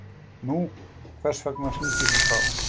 Nú, hvers vegna hringirðu þá?